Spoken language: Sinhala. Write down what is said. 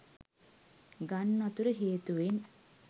ගංවතුර හේතුවෙන්